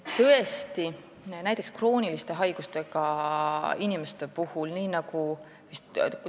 Tõesti, näiteks krooniliste haigustega inimesed.